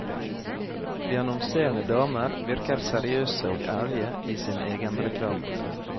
De annonserende damer virker seriøse og ærlige i sin egenreklame.